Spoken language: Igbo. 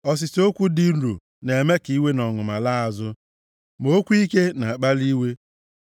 Ọsịsa okwu dị nro na-eme ka iwe na ọnụma laa azụ; ma okwu ike na-akpali iwe.